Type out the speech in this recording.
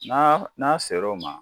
n'a sera o ma